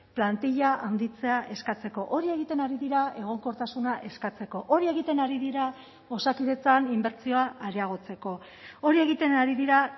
plantila handitzea eskatzeko hori egiten ari dira egonkortasuna eskatzeko hori egiten ari dira osakidetzan inbertsioa areagotzeko hori egiten ari dira